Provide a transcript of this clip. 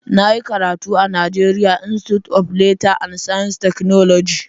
Na yi karatu a NIGERIA INSTITUTE OF LEATHER AND SCIENCE TECHNOLOGY.